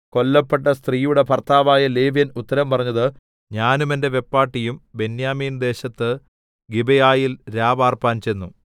കൊല്ലപ്പെട്ട സ്ത്രീയുടെ ഭർത്താവായ ലേവ്യൻ ഉത്തരം പറഞ്ഞത് ഞാനും എന്റെ വെപ്പാട്ടിയും ബെന്യാമീൻദേശത്ത് ഗിബെയയിൽ രാപാർപ്പാൻ ചെന്നു